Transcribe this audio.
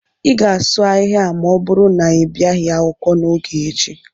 ị ga-asụ ahịhịa ma ọ bụrụ na ị bịaghị akwụkwọ n'oge echi